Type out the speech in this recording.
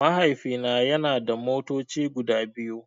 Mahaifina yana da motoci guda biyu.